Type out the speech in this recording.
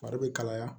Fari bɛ kalaya